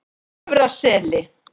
Efra Seli